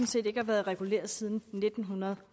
set ikke har været reguleret siden nitten